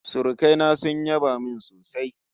Surukai na sun yaba min sosai